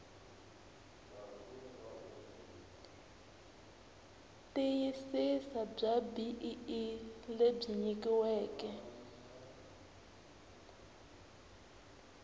tiyisisa bya bee lebyi nyikiweke